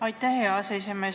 Aitäh, hea aseesimees!